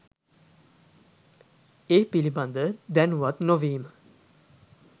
ඒ පිළිබඳ දැනුවත් නො වීම